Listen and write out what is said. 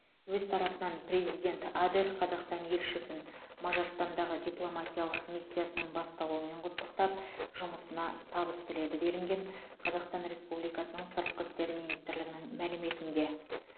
өз тарапынан президент адер қазақстан елшісін мажарстандағы дипломатиялық миссиясының басталуымен құттықтап жұмысына табыс тіледі делінген қазақстан республикасының сыртқы істер министрлігінің мәліметінде